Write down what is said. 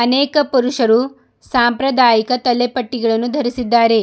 ಅನೇಕ ಪುರುಷರು ಸಾಂಪ್ರದಾಯಿಕ ತಲೆಪಟ್ಟಿಗಳನ್ನು ಧರಿಸಿದ್ದಾರೆ.